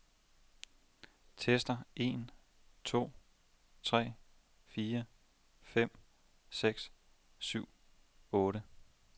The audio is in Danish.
Tester en to tre fire fem seks syv otte.